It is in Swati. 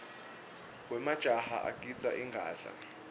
wemajaha agidza ingadla